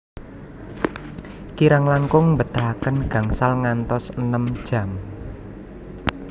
Kirang langkung mbetahaken gangsal ngantos enem jam